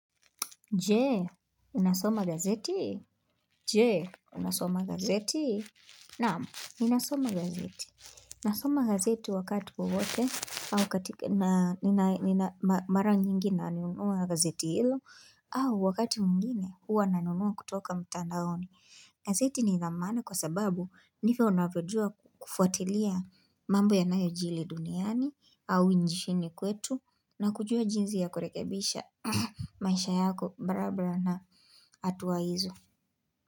Jee, unasoma gazeti? Jee, unasoma gazeti? Naam, ninasoma gazeti. Nasoma gazeti wakati wowote au katika na mara nyingi na anunua gazeti hilo au wakati mwingine huwa nanunua kutoka mtandaoni. Gazeti nila maana kwa sababu ndivyo unavyojua kufuatilia mambo ya nayo jili duniani au ishini kwetu na kujua jinzi ya kurekebisha maisha yako barabara na hatuwa hizo.